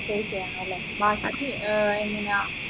pay ചെയ്യണൊ അല്ലെ ബാക്കിക്ക് ഏർ എങ്ങനെയാ